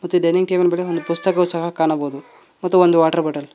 ಮತ್ತೆ dining table ಮೇಲೆ ಒಂದು ಪುಸ್ತಕವು ಸಹ ಕಾಣಬೋದು ಮತ್ತು ಒಂದು ವಾಟರ್ ಬಾಟಲ್ --